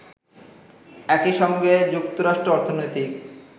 একইসঙ্গে যুক্তরাষ্ট্র অর্থনৈতিক